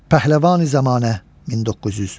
Pəhləvani-Zəmanə 1900.